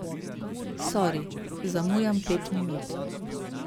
Sori, zamujam pet minut.